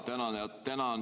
Tänan!